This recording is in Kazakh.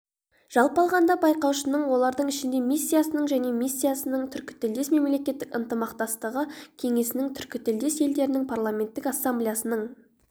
жалпы алғанда байқаушыны олардың ішінде миссиясының және миссиясының түркітілдес мемлекеттер ынтымақтастығы кеңесінің түркітілдес елдердің парламенттік ассамблеясының